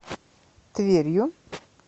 тверью